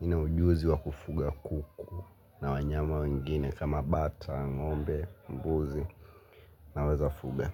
nina ujuzi wa kufuga kuku. Na wanyama wengine kama bata, ngombe, mbuzi naweza fuga.